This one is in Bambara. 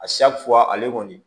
A ale kɔni